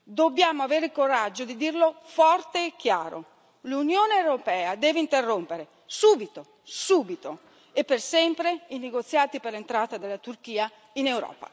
Dobbiamo avere il coraggio di dirlo forte e chiaro l'Unione europea deve interrompere subito, subito e per sempre, i negoziati per l'entrata della Turchia in Europa.